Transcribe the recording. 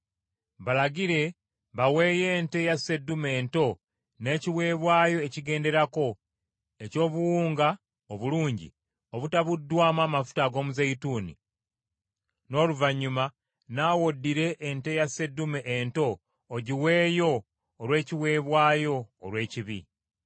Balagire baweeyo ente ya sseddume ento n’ekiweebwayo ekigenderako eky’obuwunga obulungi obutabuddwamu amafuta ag’omuzeeyituuni; n’oluvannyuma naawe oddire ente ya sseddume ento ogiweeyo olw’ekiweebwayo olw’ekibi.